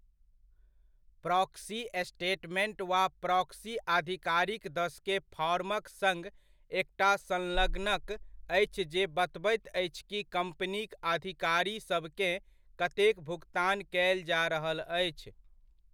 Proxy statement वा proxy आधिकारिक दस के फॉर्मक सङ्ग एकटा संलग्नक अछि जे बतबैत अछि कि कम्पनीक अधिकारीसभकेँ कतेक भुकतान कयल जा रहल अछि।